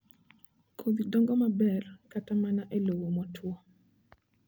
Kodhi dongo maber kata mana e lowo motuwo